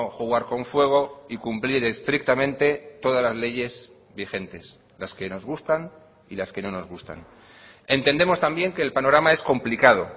jugar con fuego y cumplir estrictamente todas las leyes vigentes las que nos gustan y las que no nos gustan entendemos también que el panorama es complicado